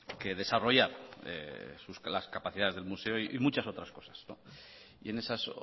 que desarrollar las capacidades del museo y muchas otras cosas y en esas